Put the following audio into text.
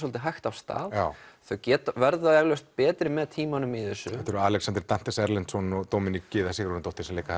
hægt af stað þau verða eflaust betri með tímanum í þessu þetta eru Alexander Dantes Erlendsson og Gyða Sigurðardóttir sem leika